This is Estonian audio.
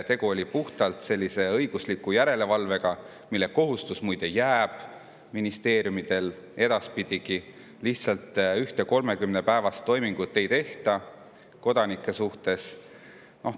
Tegu oli puhtalt õigusliku järelevalvega, mille kohustus, muide, jääb ministeeriumidele edaspidigi, lihtsalt ühte 30‑päevast toimingut ei tehta kodanike suhtes.